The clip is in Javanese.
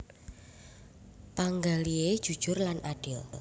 Panggalihé jujur lan adil